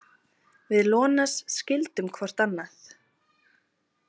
Við Ionas skildum hvort annað.